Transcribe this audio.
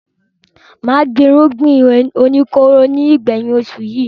Mà gbin àwọn irúgbìn oníkóró ní ìgbẹ̀yìn oṣù yìí.